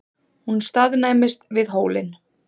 Hún staðnæmist við hólinn.